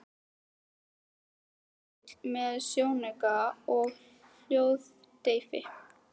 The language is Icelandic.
Á því lá riffill með sjónauka og hljóðdeyfi.